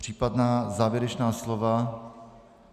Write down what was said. Případná závěrečná slova.